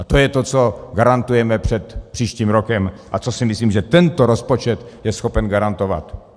A to je to, co garantujeme před příštím rokem a co si myslím, že tento rozpočet je schopen garantovat.